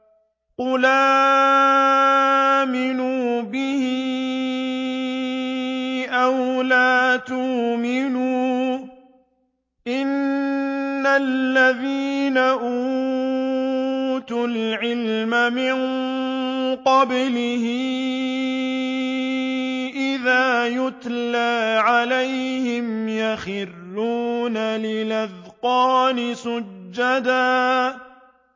قُلْ آمِنُوا بِهِ أَوْ لَا تُؤْمِنُوا ۚ إِنَّ الَّذِينَ أُوتُوا الْعِلْمَ مِن قَبْلِهِ إِذَا يُتْلَىٰ عَلَيْهِمْ يَخِرُّونَ لِلْأَذْقَانِ سُجَّدًا